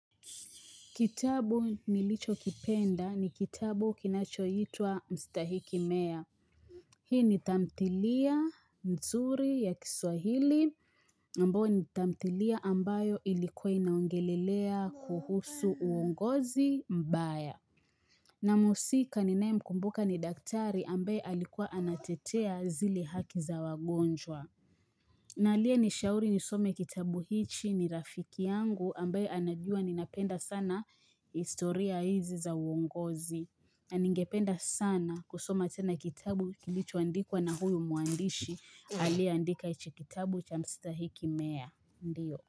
Kitabu nilichokipenda ni kitabu kinachoitwa Mstahiki meya. Hii ni tamthilia mzuri ya kiswahili ambayo ni tamthilia ambayo ilikuwa inaongelelea kuhusu uongozi mbaya. Na muhusika ninaye mkumbuka ni daktari ambaye alikuwa anatetea zile haki za wagonjwa. Na aliye nishauri nisome kitabu hichi ni rafiki yangu ambaye anajua ninapenda sana historia hizi za uongozi. Na ningependa sana kusoma tena kitabu kilichoandikwa na huyu mwandishi aliye andika ichi kitabu cha Mstahiki Meya. Ndio.